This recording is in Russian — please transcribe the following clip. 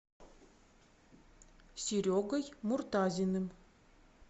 серегой муртазиным